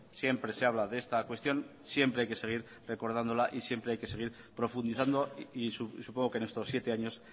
siempre se habla de esta cuestión siempre hay que seguir recordándola y siempre hay que seguir profundizando y supongo que en estos siete años